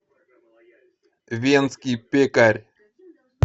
венский пекарь